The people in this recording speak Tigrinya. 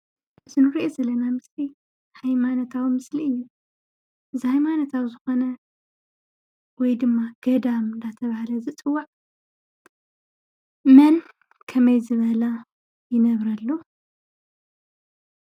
እቱይ ንርእዮ ዘለና ምስሊ ሃይማኖታዊ ምስሊ እዩ። እዙይ ሃይማኖታዊ ዝኮነ ወይ ድማ ገዳም እናተባህለ ዝፅዋዕ መን ከመይ ዝበለ ይነብረሉ?